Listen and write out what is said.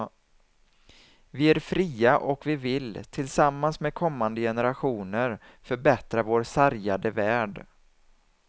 Vi är fria och vi vill, tillsammans med kommande generationer, förbättra vår sargade värld.